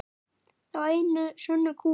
Þá einu sönnu kú.